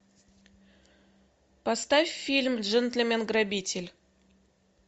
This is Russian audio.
поставь фильм джентльмен грабитель